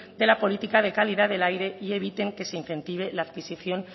de la política de calidad del aire y eviten que se incentive la adquisicion